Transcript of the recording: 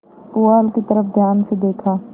पुआल की तरफ ध्यान से देखा